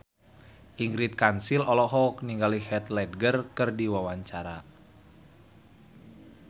Ingrid Kansil olohok ningali Heath Ledger keur diwawancara